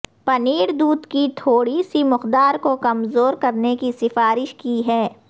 پنیر دودھ کی تھوڑی سی مقدار کو کمزور کرنے کی سفارش کی ہے